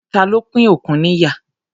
Ta ló pín òkun níyà?